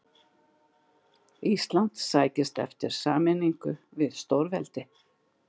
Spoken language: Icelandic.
Ísland sækist eftir sameiningu við stórveldi.